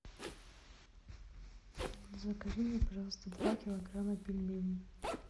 закажи мне пожалуйста два килограмма пельменей